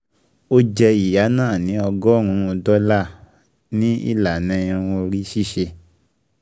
O jẹ ìyá náà ni ọgọ́rùn-ún dọ́là ($100) ní ìlànà irun orí ṣíṣe